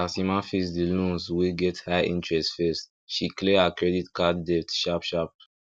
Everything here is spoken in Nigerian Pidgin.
as emma face the loans wey get high interest first she clear her credit card debt sharp sharp